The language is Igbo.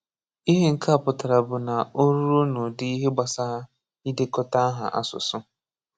Íhè nkè á pụtarà bụ̀ ná ọ̀ rùo n’ụdí ìhè gbasàrà ídékọtà áhá àsụsụ.